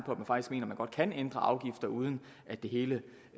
på kan ændre afgifter uden at det hele